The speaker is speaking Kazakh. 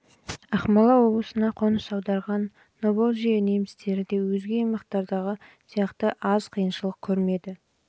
ақмола облысына қоныс аударған поволжье немістері де өзге аймақтардағы сияқты аз қиыншылық көрмеді